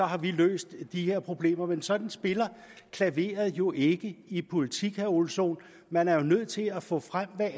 har vi løst de her problemer men sådan spiller klaveret jo ikke i politik vil ole sohn man er nødt til at få frem hvad